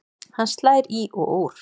Hann slær í og úr.